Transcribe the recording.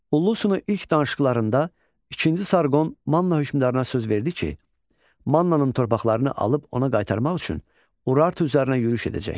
Ullusunu ilk danışıqlarında ikinci Sarqon Manna hökmdarına söz verdi ki, Mannanın torpaqlarını alıb ona qaytarmaq üçün Urartu üzərinə yürüş edəcək.